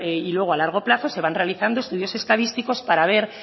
y luego a largo plazo se van realizando estudios estadísticos para ver